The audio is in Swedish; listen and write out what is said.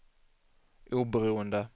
oberoende